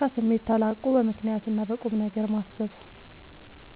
ከስሜት ተላቆ በምክንያትና በቁምነገር ማሰብ